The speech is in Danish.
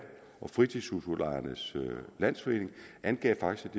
og fritidshusudlejernes landsforening angav faktisk